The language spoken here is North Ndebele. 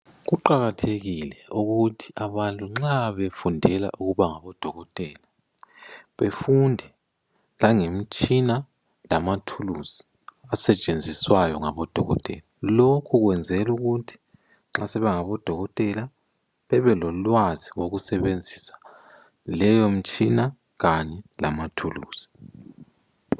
Kuqakathekile ukuthi abantu nxa befundela ukubangodokotela, befunde langemtshina, lamathuluzi asetshenziswayo ngabodokotela. Lokhu kwenzelwa ukuthi nxa sebengabodokotela bebelolwazi lokusebenzisa leyomtshina kanyelama thuluzi.